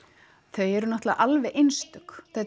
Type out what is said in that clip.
þau eru náttúrulega alveg einstök